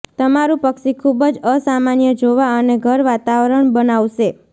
તમારું પક્ષી ખૂબ જ અસામાન્ય જોવા અને ઘર વાતાવરણ બનાવશે